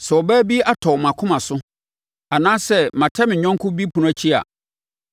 “Sɛ ɔbaa bi atɔ mʼakoma so, anaasɛ matɛ me yɔnko bi ɛpono akyi a,